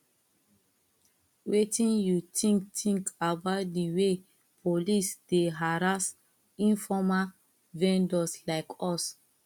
wetin you think think about di way police dey harass informal vendors like us